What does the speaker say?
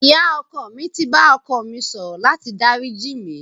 Ìyá ọkọ mi ti bá ọkọ mi sọ̀rọ̀ láti dáríjì mí.